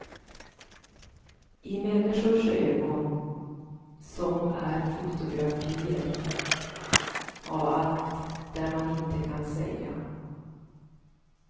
I människors ögon som är fotografier av allt det där man inte kan säga.